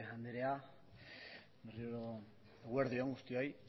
andrea eguerdi on guztioi